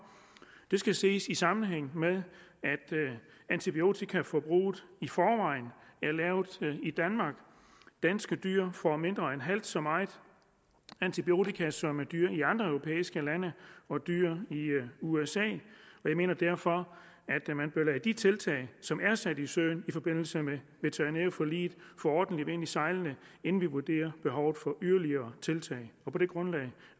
det skal ses i sammenhæng med at antibiotikaforbruget i forvejen er lavt i danmark danske dyr får mindre end halvt så meget antibiotika som dyr i andre europæiske lande og dyr i usa jeg mener derfor at de tiltag som er sat i søen i forbindelse med veterinærforliget få ordentlig vind i sejlene inden vi vurderer behovet for yderligere tiltag på det grundlag